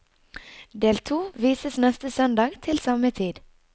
Del to vises neste søndag til samme tid.